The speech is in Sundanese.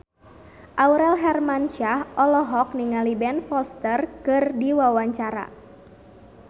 Aurel Hermansyah olohok ningali Ben Foster keur diwawancara